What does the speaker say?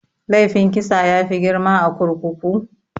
Laifin kisa yafi girma a kurkuku?